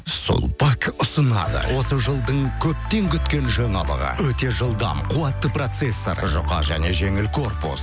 сулпак ұсынады осы жылдың көптен күткен жаңалығы өте жылдам қуатты процессор жұқа және жеңіл корпус